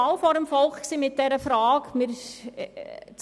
Wir gingen schon einmal mit dieser Frage vors Volk.